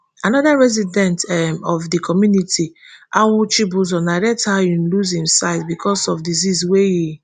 anoda resident um of di community awu chibueze narrate how e lose im sight becos of disease wey e